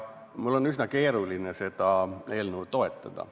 Mul on üsna keeruline seda eelnõu toetada.